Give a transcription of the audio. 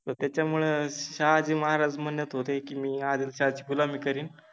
त त्याच्यामुळे शहाजि महाराज मनत होते कि मि आदिलशाहा चि गुलामि करिन